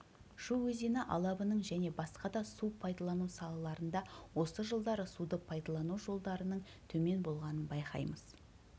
шу өзені алабының және басқа да су пайдалану салаларында осы жылдары суды пайдалану жолдарының төмен болғанын байқаймыз